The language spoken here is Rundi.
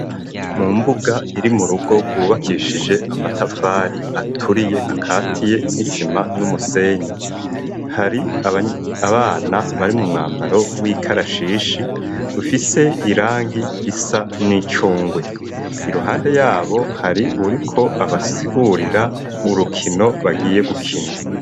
Mu mbuga iri mu rugo rwubakishije amatafari aturiye akatiye n'isima n'umusenyi. Hari abana bari mu mwambaro w'ikarashishi ufise irangi risa n'icungwe. Iruhande yabo hari uwuriko abasigurira urukino bagiye gukina.